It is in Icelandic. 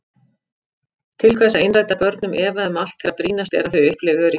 Til hvers að innræta börnum efa um allt þegar brýnast er að þau upplifi öryggi?